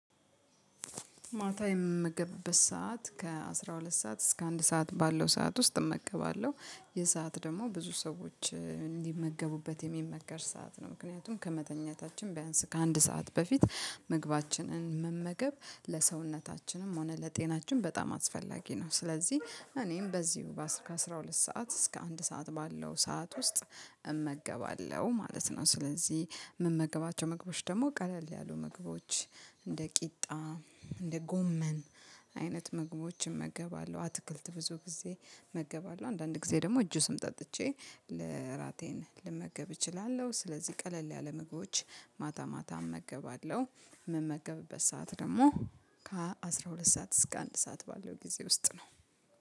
ማታ የምመገብበት ሰዓት ከአስራ ሁለት ሰዓት እስከ አንድ ሰዓት ባለው ሰዓት ውስጥ እመገባለሁ። ይህ ሰዓት ደግሞ ብዙ ሰዎች እንዲመገቡበት የሚመከር ሰዓት ነው። ምክንያቱም ከመተኛታችን ቢያንስ ከአንድ ሰዓት በፊት ምግባችንን መመገብ ለሰውነታችንም ሆነ ለጤናችን በጣም አስፈላጊ ነው። ስለዚህ እኔም በዚሁ ከ አሰራ ሁለት እስከ አንድ ሰዓት ባለው ሰዓት ውስጥ እመገባለሁ ማለት ነው። ስለዚህ የምመገባቸው ምግቦች ደግሞ ቀለል ያሉ ምግቦች እንደ ቂጣ፣ እንደ ጎመን፣ አይነት ምግቦችን እመገባለሁ። አትክልት ብዙ ጊዜ መገባለሁ አንዳንድ ጊዜ ደግሞ ጁስም ጠጥቼ ለራቴን ልመገብ እችላለሁ። ስለዚህ ቀለል ያለ ምግቦች ማታ ማታ እመገባለሁ የምመገብበት ሰዓት ደግሞ ከአስራ ሁለት ሰዓት እስከ አንድ ሰዓት ባለው ጊዜ ውስጥ ነው።